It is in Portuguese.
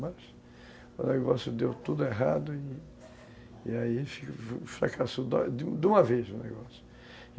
Mas o negócio deu tudo errado e aí fracassou de uma vez o negócio.